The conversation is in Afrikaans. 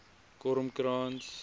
kormkrans